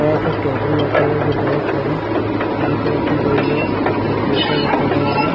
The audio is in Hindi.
बड़ा सा टेबुल रखा हुआ है और बहुत सारी बुक रखी गई है एक कम्पूटर रखा गया है।